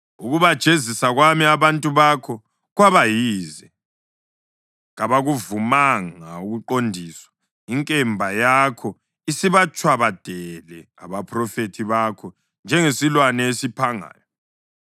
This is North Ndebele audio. “Ukubajezisa kwami abantu bakho kwaba yize; kabakuvumanga ukuqondiswa. Inkemba yakho isibatshwabadele abaphrofethi bakho njengesilwane esiphangayo.